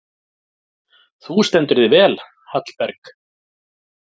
Þú stendur þig vel, Hallberg!